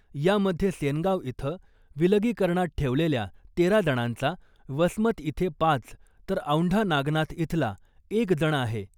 यामध्ये सेनगाव इथं विलगीकरणात ठेवलेल्या तेरा जणांचा , वसमत इथे पाच , तर औंढा नागनाथ इथला एक जण आहे .